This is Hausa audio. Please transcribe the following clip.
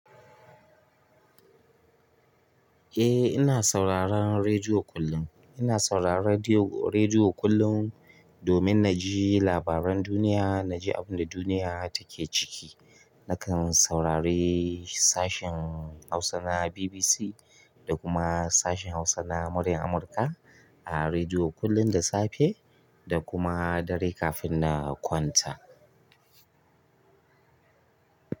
Eh ina sauraron redio kullum ina sauraron rediyo--rediyo kullum domin naji labaran duniya, naji abinda duniya take ciki. Nakan saurari sashin Hausa na BBC da kuma sashin Hausa na Muryan Amurka a rediyo kullum da safe da kuma dare kafin na kwanta.